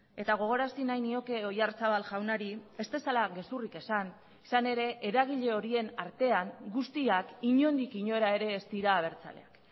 eta gogorarazi nahi nioke oyarzabal jaunari ez dezala gezurrik esan izan ere eragile horien artean guztiak inondik inora ere ez dira abertzaleak